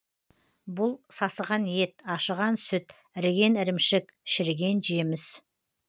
бұл сасыған ет ашыған сүт іріген ірімшік шіріген жеміс